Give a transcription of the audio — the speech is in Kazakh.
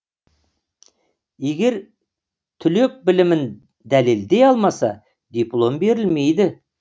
егер түлек білімін дәлелдей алмаса диплом берілмейді